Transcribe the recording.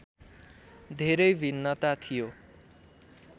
धेरै भिन्नता थियो